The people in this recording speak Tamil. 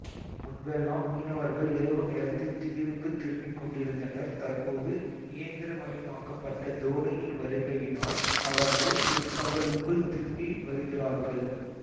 முன்பெல்லாம் மீனவர்கள் இரவு நேரத்தில் தீவுக்குத் திரும்பிக்கொண்டிருந்தனர் தற்போது இயந்திரமயமாக்கப்பட்ட தோனியின் வருகையினால் அவர்கள் பிற்பகலுக்குள் திரும்பி வருகிறார்கள்